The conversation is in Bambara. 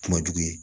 Kuma jugu ye